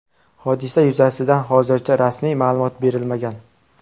Hodisa yuzasidan hozircha rasmiy ma’lumot berilmagan.